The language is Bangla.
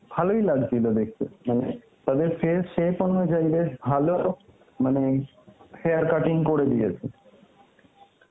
ভালোই লাগছিল দেখতে মানে তাদের face shape অনুযায়ী ওদের ভালো মানে hair cutting করে দিয়েছে.